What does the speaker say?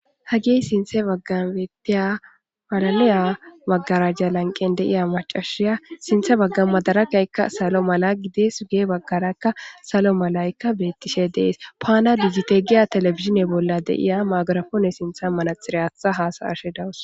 Hagey sinththa baggara beettiya malaliya maggaraja lanqqen de'iya maccashiya sinththe bagga maggarajaykka salo mala gidees guye baggaykka salo malaykka beetishe de'es. Fana dijite giya telebizhzhine bolla de'iya maygirapoone sinththan manaxire aaththa hasa'ashe de'awus.